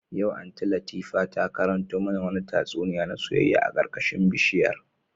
Yau Aunty Latifa ta karanto mana wani tatsuniya na soyayya a karkashin bishiyar